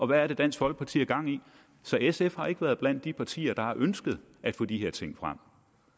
hvad dansk folkeparti har gang i så sf har ikke være blandt de partier der har ønsket at få de her ting frem